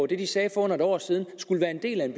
det de sagde for under et år siden er en del af det